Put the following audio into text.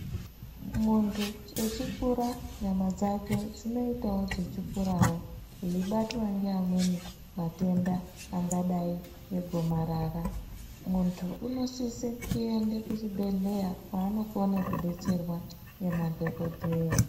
Muntu echikura nyama dzake dzinoitawo dzechikurawo eibatwa ngaamweni matenda angaadai ngegomarara. Muntu unosise kuenda kuchibhedhleya kwaanokone kudetserwa ngemadhokodheya.